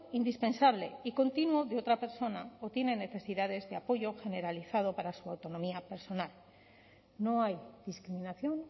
indispensable y continuo de otra persona o tiene necesidades de apoyo generalizado para su autonomía personal no hay discriminación